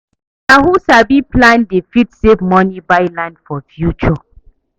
Na who sabi plan dey fit save money buy land for future.